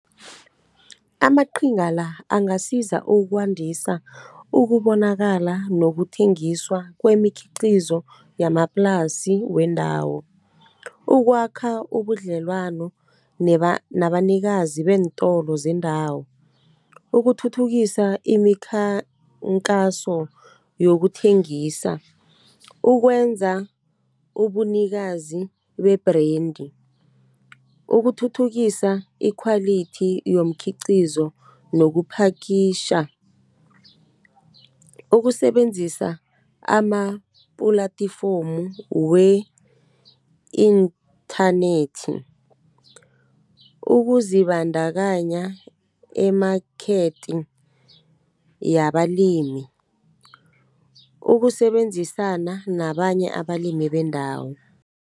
Amaqhinga la, angasiza ukwandisa ukubonakala nokuthengiswa kwemikhiqizo yamaplasi wendawo. Ukwakha ubudlelwano nabanikazi beentolo zendawo, ukuthuthukisa imikhankaso yokuthengisa, ukwenza ubunikazi be-brandi, ukuthuthukisa ikhwalithi yomkhiqizo, nokuphakitjha, ukusebenzisa ama-platform wenthanethi, ukuzibandakanya emakhethi yamalimi, ukusebenzisana nabanye abalimi bendawo.